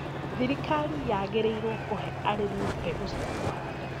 Thirkari yagĩrĩrwo kuhe arĩmi mbegũ cia kũhanda